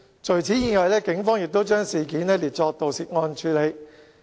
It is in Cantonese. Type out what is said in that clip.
除此之外，警方亦已將事件列作盜竊案處理。